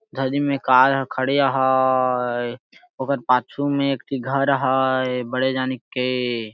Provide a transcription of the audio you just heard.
धड़ी में कार खड़िये हाय ओकर पाछू में एक घर हाय बड़ी जानी के --